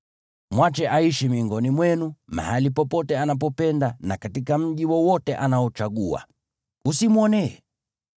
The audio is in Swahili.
Mwache aishi miongoni mwenu mahali popote anapopapenda na katika mji wowote anaochagua. Usimwonee.